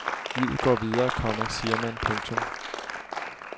Livet går videre, komma siger man. punktum